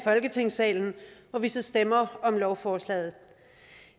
folketingssalen hvor vi så stemmer om lovforslaget